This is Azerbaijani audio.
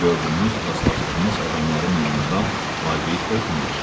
Gördüyünüz, rastlaşdığınız adamların yanından laqeyd ötməyin.